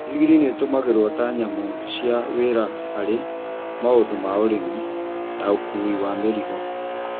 ndigiri nĩ itũmĩragwo ta nyamũ cia wĩra harĩ maũndũ ma ũrĩmi na ũkuui wa mĩrigo.